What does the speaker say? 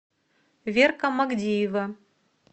верка магдиева